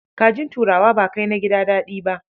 Kajin turawa ba kai na gida daɗi ba.